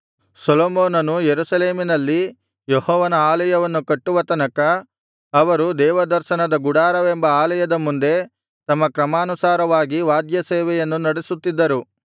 ಸೊಲೊಮೋನನು ಯೆರೂಸಲೇಮಿನಲ್ಲಿ ಯೆಹೋವನ ಆಲಯವನ್ನು ಕಟ್ಟುವ ತನಕ ಅವರು ದೇವದರ್ಶನದ ಗುಡಾರವೆಂಬ ಆಲಯದ ಮುಂದೆ ತಮ್ಮ ಕ್ರಮಾನುಸಾರವಾಗಿ ವಾದ್ಯ ಸೇವೆಯನ್ನು ನಡೆಸುತ್ತಿದ್ದರು